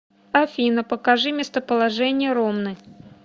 афина покажи местоположение ромны